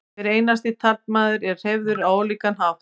hver einasti taflmaður er hreyfður á ólíkan hátt